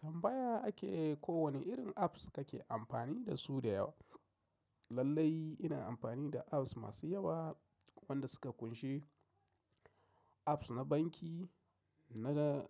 Tambaya ake ko wanne irin apps kake amfani dasu da yawa? Lallai ina amfani da apps masu yawa wanda suka ƙunshi apps na banki, na, na,